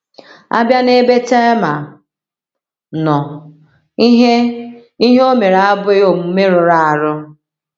A bịa n’ebe Tema nọ, ihe ihe o mere abụghị omume rụrụ arụ.